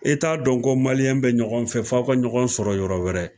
E t'a dɔn ko maliyɛn bɛ ɲɔgɔn fɛ f'a ka ɲɔgɔn sɔrɔ yɔrɔ wɛrɛ.